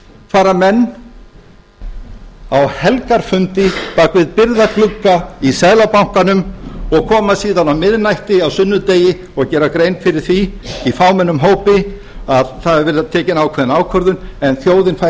fara menn á helgarfundi bak við byrgða glugga í seðlabankanum og koma síðan á miðnætti á sunnudegi og gera grein fyrir því í fámennum hópi að það hafi verið tekin ákveðin ákvörðun en þjóðin fær ekki